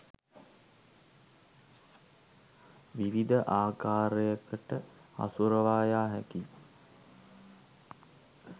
විවිධ ආකාරයකට හසුරුවා යා හැකියි.